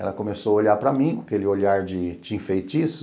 Ela começou a olhar para mim com aquele olhar de tinha feitiço.